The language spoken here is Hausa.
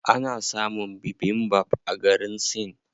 Ana samun bibimbap a garin Sin.